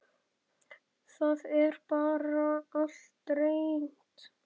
Það er bara allt reynt.